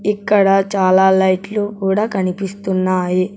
ఇక్కడ చాలా లైట్లు కూడా కనిపిస్తున్నాయి.